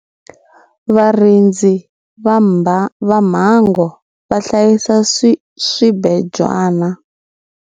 Varindzi va mbango va hlayisa swibejwana.